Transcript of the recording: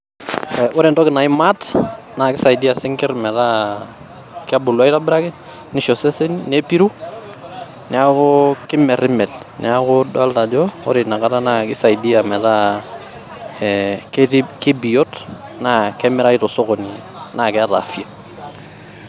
eeh ore entoki nai mart naa kisaidia sinkirr metaa kebulu aitobiraki ,nisho seseni ,nepiru ,niaku kimermer ,niaku idolta ajo ore ina kata naa kisaidia metaa ee ketii kibiot naa kemirayu tosokoni neeta afya.